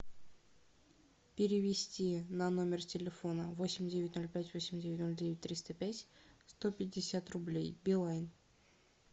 перевести на номер телефона восемь девять ноль пять восемь девять ноль девять триста пять сто пятьдесят рублей билайн